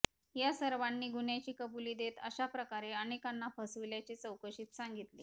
या सर्वांनी गुह्यांची कबुली देत अशा प्रकारे अनेकांना फसविल्याचे चौकशीत सांगितले